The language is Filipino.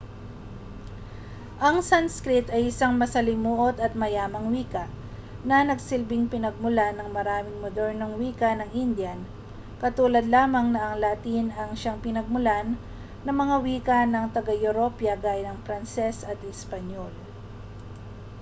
ang sanskrit ay isang masalimuot at mayamang wika na nagsilbing pinagmulan ng maraming modernong wika ng indian katulad lamang na ang latin ay siyang pinagmulan ng mga wika ng taga-europa gaya ng pranses at espanyol